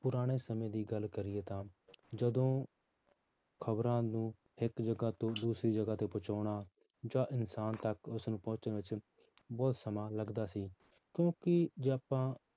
ਪੁਰਾਣੇ ਸਮੇਂ ਦੀ ਗੱਲ ਕਰੀਏ ਤਾਂ ਜਦੋਂ ਖ਼ਬਰਾਂ ਨੂੰ ਇੱਕ ਜਗ੍ਹਾ ਤੋਂ ਦੂਸਰੀ ਜਗ੍ਹਾ ਤੇ ਪਹੁੰਚਾਉਣਾ ਜਾਂ ਇਨਸਾਨ ਤੱਕ ਉਸਨੂੰ ਪਹੁੰਚਣ ਵਿੱਚ ਬਹੁਤ ਸਮਾਂ ਲੱਗਦਾ ਸੀ ਕਿਉਂਕਿ ਜੇ ਆਪਾਂ